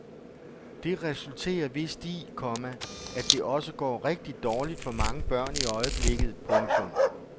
Det resulterer vist i, komma at det også går rigtig dårligt for mange børn i øjeblikket. punktum